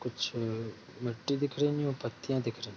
कुछ मिट्टी दिख रही है पत्थर दिख रहे --